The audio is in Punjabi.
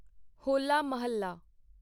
ਹੋਲਾ ਮੁਹੱਲਾ